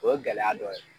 O ye gɛlɛya dɔ ye